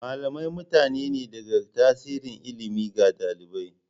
Malamai mutane ne da ke tasiri ilimi ga ɗalibai.